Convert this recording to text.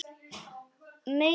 Megi mig hvergi hræra.